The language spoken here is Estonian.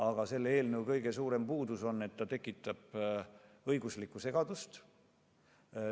Aga selle eelnõu kõige suurem puudus on, et see tekitaks õiguslikku segadust.